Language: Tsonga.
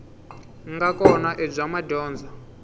nga kona i bya madyondza